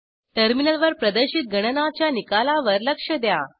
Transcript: टर्मिनलवर प्रदर्शित गणनाच्या निकालावर लक्ष द्या